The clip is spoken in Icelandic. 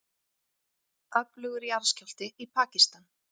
Öflugur jarðskjálfti í Pakistan